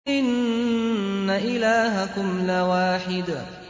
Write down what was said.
إِنَّ إِلَٰهَكُمْ لَوَاحِدٌ